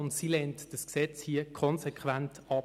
Und sie lehnt diese Gesetzesrevision konsequent ab.